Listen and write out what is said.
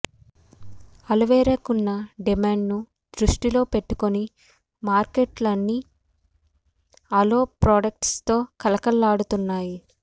అలోవెరాకున్న demand ను దృష్టిలో పెట్టుకుని మార్కెట్ లన్నీ అలో ప్రోడక్ట్స్ తో కళకళలాడిపోతున్నాయి